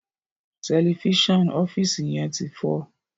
Tẹlifíṣàn ọfiisi yén tí fọ